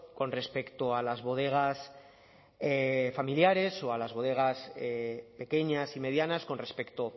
con respecto a las bodegas familiares o a las bodegas pequeñas y medianas con respecto